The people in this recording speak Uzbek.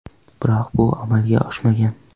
Biroq bu amalga oshmagan.